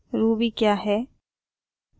ruby क्या है